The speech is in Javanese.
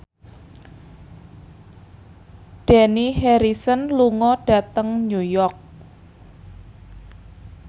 Dani Harrison lunga dhateng New York